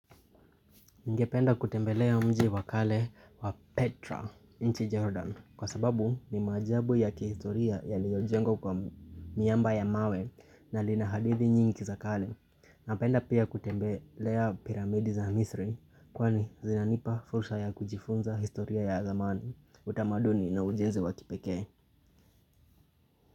Ningependa kutembelea mji wa kale wa Petra, nchi Jordan, kwa sababu ni maajabu ya kihistoria yaliyojengwa kwa miamba ya mawe na lina hadithi nyingi za kale. Napenda pia kutembelea piramidi za misri, kwani zinanipa fursa ya kujifunza historia ya zamani, utamaduni na ujenzi wakipekee.